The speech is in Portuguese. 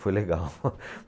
Foi legal.